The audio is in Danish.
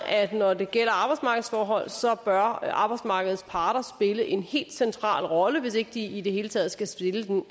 at når det gælder arbejdsmarkedsforhold bør arbejdsmarkedets parter spille en helt central rolle hvis ikke de i det hele taget skal spille den